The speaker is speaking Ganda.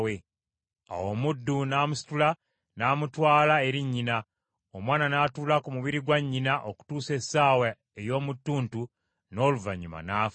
Awo omuddu n’amusitula n’amutwala eri nnyina, omwana n’atuula ku mubiri gwa nnyina okutuusa essaawa ey’omu ttuntu n’oluvannyuma n’afa.